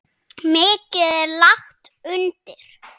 Mikið er lagt undir.